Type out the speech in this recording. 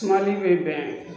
Sumali bɛ bɛn